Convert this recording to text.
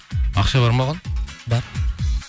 ақша бар ма оған бар